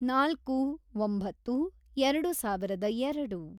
ನಾಲ್ಕು, ಒಂಬತ್ತು, ಎರೆಡು ಸಾವಿರದ ಎರೆಡು